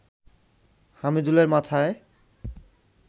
হামিদুলের মাথায়